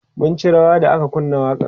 mun ci rawa da aka kunna waƙan